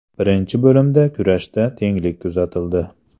Birinchi bo‘limda kurashda tenglik kuzatildi.